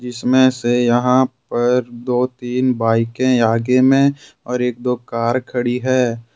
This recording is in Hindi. जिसमे से यहां पर दो तीन बाइके आगे में और एक दो कार खड़ी है।